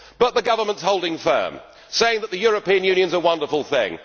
But the Government is holding firm, saying that the European Union is a wonderful thing.